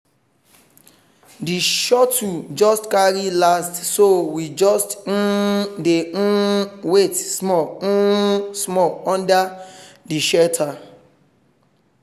the shuttle just carry last so we just um dey um wait small um small under the shelter